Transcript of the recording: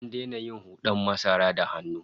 An daina yin hud'an masara da hannu